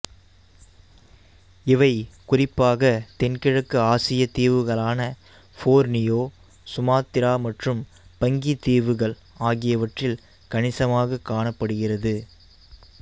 இவை குறிப்பாக தென்கிழக்கு ஆசிய தீவுகளான போர்னியோ சுமாத்திரா மற்றும் பங்கி தீவுகள் ஆகியவற்றில் கணிசமாக காணப்படுகிறது